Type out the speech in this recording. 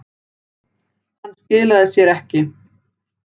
Hann skilaði sér ekki